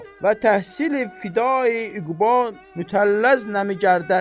və təhsil fiday İqbal mütəlləz nəmi gərdəd.